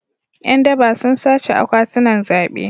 Yan daba sun sace akwatunan zabe.